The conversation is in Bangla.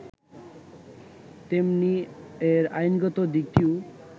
তেমনি এর আইনগত দিকটিও